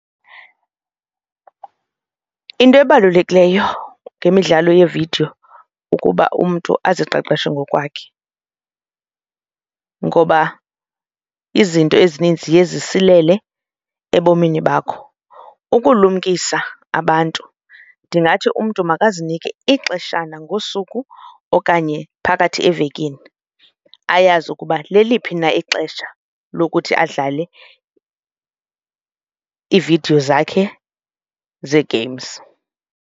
Into ebalulekileyo ngemidlalo yeevidiyo kukuba umntu aziqeqeshe ngokwakhe ngoba izinto ezininzi ziye zisilele ebomini bakho. Ukulumkisa abantu ndingathi umntu makazinike ixeshana ngosuku okanye phakathi evekini ayazi ukuba leliphi na ixesha lokuthi adlale iividiyo zakhe zee-games.